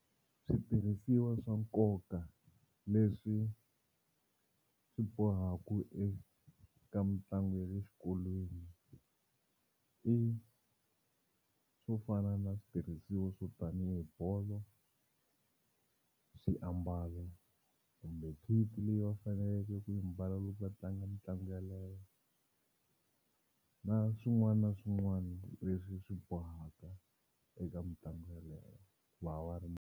Switirhisiwa swa nkoka leswi swi bohaka eka mitlangu ya le xikolweni i swo fana na switirhisiwa swo tanihi bolo swiambalo kumbe kit leyi va faneleke ku yi mbala loko va tlanga mitlangu yaleyo na swin'wana na swin'wana leswi swi bohaka eka mitlangu yaleyo va wa .